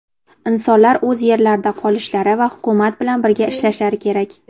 Insonlar o‘z yerlarida qolishlari va Hukumat bilan birga ishlashlari kerak.